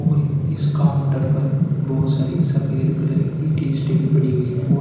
और इस काउंटर पर बहुत सारी सफेद कलर की टीशर्ट पड़ी हुई है।